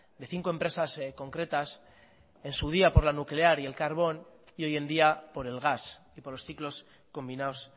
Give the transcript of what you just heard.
de cinco empresas concretas en su día por la nuclear y el carbón y hoy en día por el gas y por los ciclos combinados